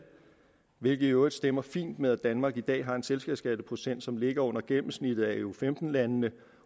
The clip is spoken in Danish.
hvilket i øvrigt stemmer fint med at danmark i dag har en selskabsskatteprocent som ligger under gennemsnittet af eu femten landene